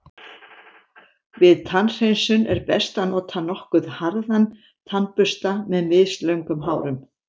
Við tannhreinsun er best að nota nokkuð harðan tannbursta með mislöngum hárum.